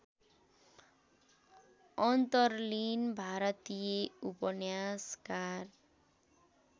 अन्तरलिन भारतीय उपन्यासकार